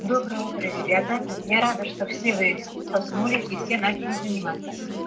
доброе утро ребята я рада что все вы проснулись и все начали заниматься